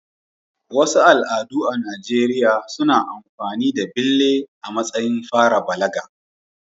Wasu al'adu a Najeriya suna amfani da bille a matsayin fara balaga.